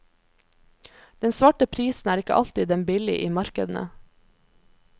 Den svarte prisen er ikke alltid den billig i markedene.